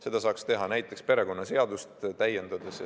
Seda saaks teha näiteks perekonnaseadust täiendades.